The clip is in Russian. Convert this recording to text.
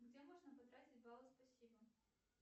где можно потратить баллы спасибо